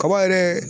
Kaba yɛrɛ